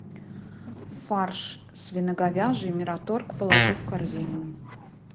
фарш свино говяжий мираторг положи в корзину